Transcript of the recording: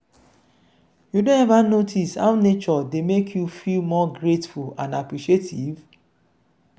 you don ever notice how nature dey make you feel more grateful and appreciative?